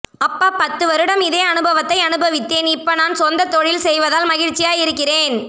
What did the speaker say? அப்பா பத்துவருடம் இதே அனுபவத்தை அனுபவித்தேன் இப்ப நான் சொந்த தொழில் செய்வதால் மகிழ்ச்சியா இருக்கிறேன்